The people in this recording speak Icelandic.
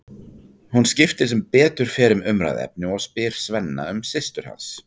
Hún skiptir sem betur fer um umræðuefni og spyr Svenna um systur hans.